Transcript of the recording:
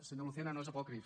senyor lucena no és apòcrif